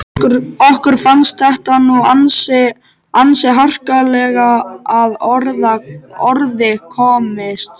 Okkur fannst þetta nú ansi harkalega að orði komist.